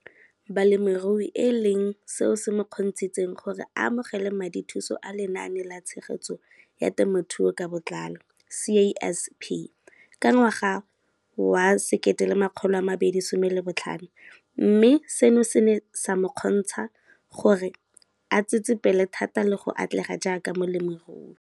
Balemirui e leng seo se mo kgontshitseng gore a amogele madithuso a Lenaane la Tshegetso ya Te mothuo ka Botlalo, CASP] ka ngwaga wa 2015, mme seno se ne sa mo kgontsha gore a tsetsepele thata le go atlega jaaka molemirui.